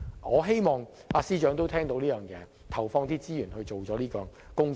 我希望司長聽到這項建議，投放資源進行有關工作。